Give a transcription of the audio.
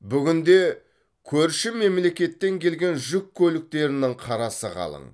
бүгінде көрші мемлекеттен келген жүк көліктерінің қарасы қалың